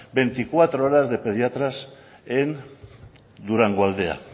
veinticuatro horas de pediatras en durangoaldea